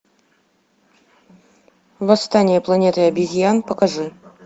восстание планеты обезьян покажи